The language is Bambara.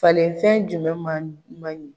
Falenfɛn jumɛn man ɲi.